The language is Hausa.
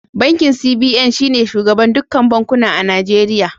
Bankin CBN shi ne shugaban dukkan bankuna a Nijeriya.